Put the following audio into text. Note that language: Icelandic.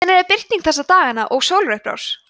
hvenær er birting þessa dagana og sólarupprás